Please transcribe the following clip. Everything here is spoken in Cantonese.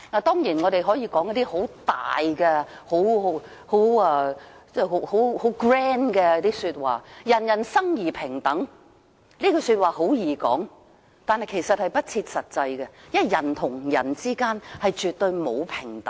當然，我們可以說得很偉大、很 grand，" 人人生而平等"，說說是容易的，但其實是不切實際，因為人與人之間絕對沒有平等。